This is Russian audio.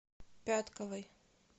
пятковой